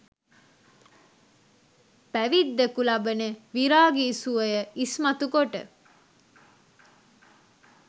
පැවිද්දකු ලබන විරාගි සුවය ඉස්මතු කොට